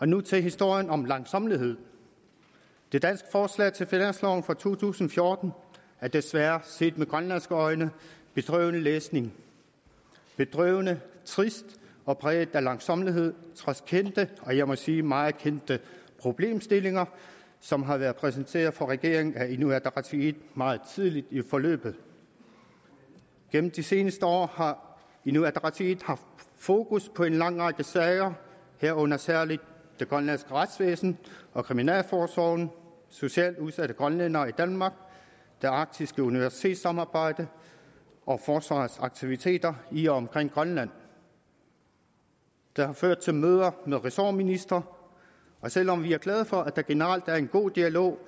nu til historien om langsommelighed det danske forslag til finansloven for to tusind og fjorten er desværre set med grønlandske øjne bedrøvelig læsning bedrøvende trist og præget af langsommelighed trods kendte og jeg må sige meget kendte problemstillinger som har været præsenteret for regeringen af inuit ataqatigiit meget tidligt i forløbet gennem de seneste år har inuit ataqatigiit haft fokus på en lang række sager herunder særlig det grønlandske retsvæsen og kriminalforsorgen socialt udsatte grønlændere i danmark det arktiske universitetssamarbejde og forsvarets aktiviteter i og omkring grønland det har ført til møder med ressortministre og selv om vi er glade for at der generelt er en god dialog